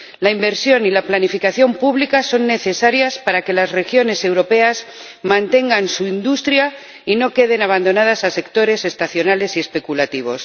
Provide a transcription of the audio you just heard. La inversión y la planificación públicas son necesarias para que las regiones europeas mantengan su industria y no queden abandonadas a sectores estacionales y especulativos.